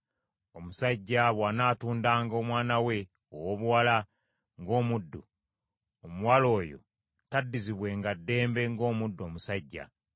“Omusajja bw’anaatundanga omwana we owoobuwala ng’omuddu, omuwala oyo taddizibwenga ddembe ng’omuddu omusajja.